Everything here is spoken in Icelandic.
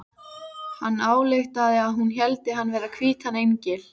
Hann ályktaði að hún héldi hann vera hvítan engil.